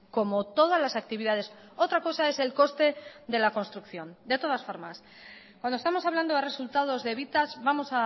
como todas las actividades otra cosa es el coste de la construcción de todas formas cuando estamos hablando de resultados de evitas vamos